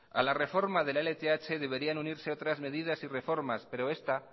a la reforma de la lth deberían unirse otras medidas y reformas pero esta